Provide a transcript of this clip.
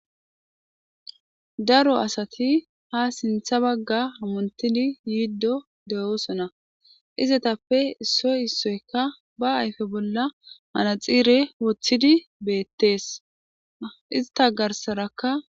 daro asati ha sintha bagga hamonttidi yiiddo de7oosona izetappe issoy issoykka ba ayfe bolla manaxiire woththidi beettees ista garsarakka.